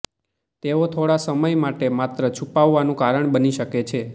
તેઓ થોડા સમય માટે માત્ર છુપાવાનું કારણ બની શકે છે